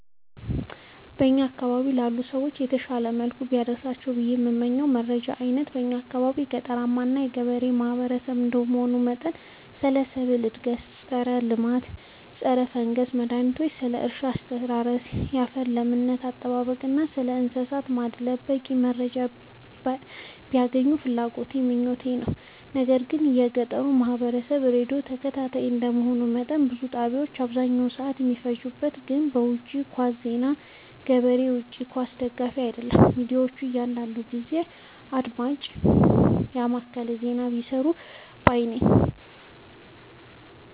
በእኛ አካባቢ ላሉ ሰዎች በተሻለ መልኩ ቢደርሳቸው ብዬ የምመኘው የመረጃ አይነት የእኛ አካባቢ ገጠራማ እና ገበሬ ማህበሰብ እንደመሆኑ መጠን ስለ ሰብል እድገት ስለ ፀረ አረም ፀረፈንገስ መድሀኒቶች ስለ እርሻ አስተራረስ ያፈር ለምነት አጠባበቅ እና ስለእንሰሳት ማድለብ በቂ መረጃ ቢያገኙ ፍላጎቴ እና ምኞቴ ነው። ነገር ግን የገጠሩ ማህበረሰብ ራዲዮ ተከታታይ እንደ መሆኑ መጠን ብዙ ጣቢያዎች አብዛኛውን ሰዓት የሚፈጅት ግን በውጪ ኳስ ዜና ነው። ገበሬ የውጪ ኳስ ደጋፊ አይደለም ሚዲያዎች አንዳንዳንድ ጊዜ አድማጭን የማከለ ዜና ቢሰሩ ባይነኝ።